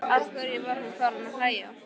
Af hverju var hún farin að hlæja?